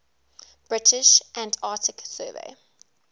british antarctic survey